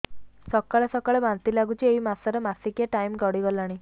ସକାଳେ ସକାଳେ ବାନ୍ତି ଲାଗୁଚି ଏଇ ମାସ ର ମାସିକିଆ ଟାଇମ ଗଡ଼ି ଗଲାଣି